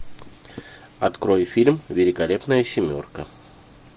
открой фильм великолепная семерка